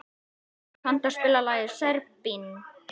Álfþór, kanntu að spila lagið „Serbinn“?